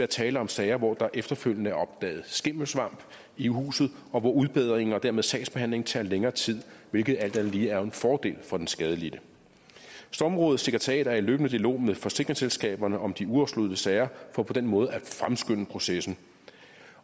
tale om sager hvor der efterfølgende er opdaget skimmelsvamp i huset og hvor udbedringen og dermed sagsbehandlingen tager længere tid hvilket alt andet lige er en fordel for den skadelidte stormrådets sekretariat er i løbende dialog med forsikringsselskaberne om de uafsluttede sager for på den måde at fremskynde processen